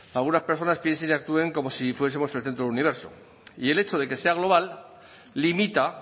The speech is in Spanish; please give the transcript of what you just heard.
algunas personas piensen y actúen como si fuesemos el centro de universo y el hecho de que sea global limita